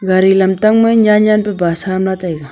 gari lamtang ma nyan nyan ba bus ham lah taiga.